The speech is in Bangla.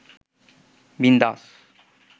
বিন্দাস